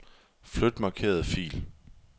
Flyt markerede fil.